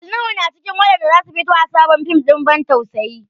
Ali Nuhu na cikin waɗanda za su fito a sabon fim ɗin ban tausayi.